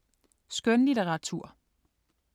Skønlitteratur